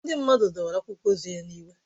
Ndị mmadụ dọwara akwụkwọ ozi ya n'iwe